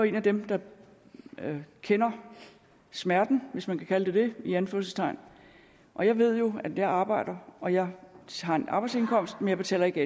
en af dem der kender smerten hvis man kan kalde det det i anførselstegn og jeg ved jo at jeg arbejder og jeg har en arbejdsindkomst men jeg betaler ikke